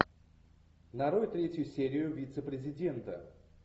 нарой третью серию вице президента